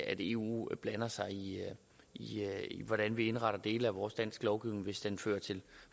at eu blander sig i i hvordan vi indretter dele af vores danske lovgivning hvis den fører til